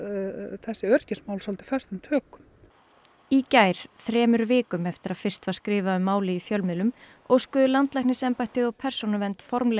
þessi öryggismál svolítið föstum tökum í gær þremur vikum eftir að fyrst var skrifað um málið í fjölmiðlum óskuðu landlæknisembættið og Persónuvernd formlega